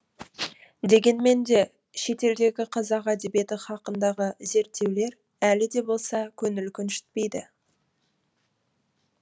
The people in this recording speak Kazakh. дегенмен де шетелдегі қазақ әдебиеті хақындағы зерттеулер әлі де болса көңіл көншітпейді